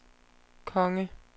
konge